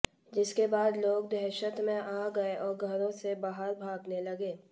जिसके बाद लोग दहशत में आ गए और घरों से बाहर भागने लगे